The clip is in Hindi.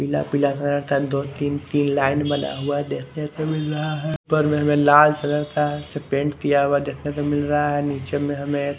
पीला पीला घर क दो तीन तीन लाइन में बना हुआ देखने को मिल रहा हैं पर मिल रहा हैं इस कलर का पेंट किया हुआ देखने को मिल रहा हैं नीचे में हमें --